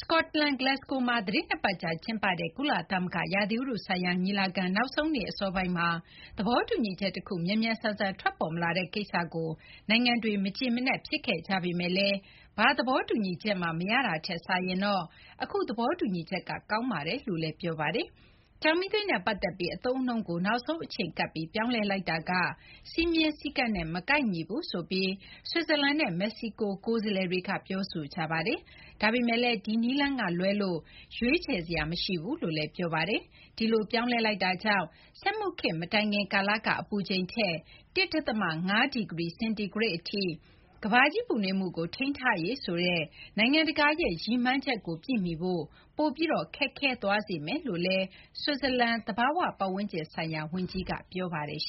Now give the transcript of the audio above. စကော့တလန် Glasgow မှာ သီတင်း ၂ ပတ်ကြာ ကျင်းပတဲ့ ကုလသမဂ္ဂ ရာသီဥတုဆိုင်ရာ ညီလာခံ နောက်ဆုံးနေ့ အစောပိုင်းမှာ သဘောတူညီချက်တခု မြန်မြန်ဆန်ဆန် ထွက်ပေါ်မလာတဲ့ ကိစ္စကို နိုင်ငံတွေ မကျေမနပ် ဖြစ်ခဲ့ကြပေမယ့်လည်း ဘာသဘောတူညီချက်မှ မရတာထက်စာရင်တော့ အခု သဘောတူညီချက်က ကောင်းပါတယ်လို့ ပြောကြပါတယ်။ ကျောက်မီးသွေးနဲ့ ပတ်သက်ပြီး အသုံးအနှုန်းကို နောက်ဆုံး အချိန်ကပ်ပြီး ပြောင်းလဲလိုက်တာက စည်းမျဉ်းစည်းကမ်းနဲ့ မကိုက်ညီဘူးဆိုပြီး ဆွစ်ဇာလန်နဲ့ မက္ကဆီကိုက ကိုယ်စားလှယ်တွေက ပြောဆိုကြပါတယ်။ ဒါပေမယ့်လည်း ဒီနည်းလမ်းကလွဲလို့ ရွေးချယ်စရာလည်း မရှိဘူးလို့ ပြောပါတယ်။ ဒီလို ပြောင်းလဲလိုက်တာကြောင့် စက်မှုခေတ်မတိုင်ခင် ကာလက အပူချိန်ထက် ၁ ဒသမ ၅ ဒီဂရီ ဆဲလ်ဆီးယပ်စ် အထိပဲ ကမ္ဘာကြီး ပူနွေးမှုကို ထိန်းထားရေးဆိုတဲ့ နိုင်ငံတကာရဲ့ ရည်မှန်းချက်ကို ပြည့်မီဖို့ ပိုပြီး ခက်ခဲသွားစေမယ်လို့ ဆွစ်ဇာလန် သဘာဝပတ်ဝန်းကျင်ဆိုင်ရာ ဝန်ကြီးက ပြောပါတယ်။